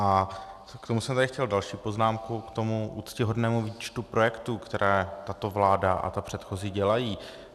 A k tomu jsem tady chtěl další poznámku, k tomu úctyhodnému výčtu projektů, které tato vláda a ta předchozí dělají.